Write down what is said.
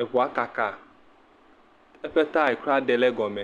Eŋua kaka. Eƒe taya kura ɖe le gɔme.